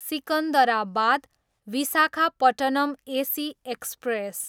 Secunderabad, Visakhapatnam AC express